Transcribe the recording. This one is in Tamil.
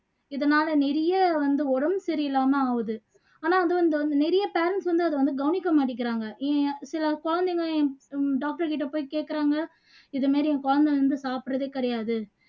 இதனால நிறைய வந்து உடம்பு சரியில்லாம ஆவுது ஆனா அது வந்து நிறைய parents வந்து அதை வந்து கவனிக்க மாட்டேக்குறாங்க ஏன் சில குழந்தைங்க என் doctor கிட்ட போயி கேக்குறாங்க இது மாதிரி என் குழந்தை வந்து சாப்புடுறதே கிடையாது